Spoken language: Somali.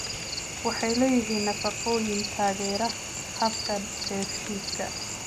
Waxay leeyihiin nafaqooyin taageera habka dheefshiidka.